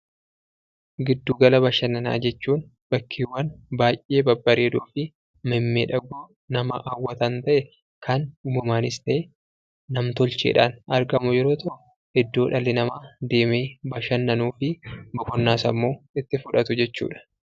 Giddugala bashannanaa jechuun bakkeewwan baay'ee babbareedoofi mimmiidhagoo nama hawwatan ta'ee, kan uumamaanis ta'e nam-tolcheen argamu yeroo ta'u, iddoo dhalli namaa deemee bashannanuufi boqonnaa sammuu itti fudhatu jechuudha.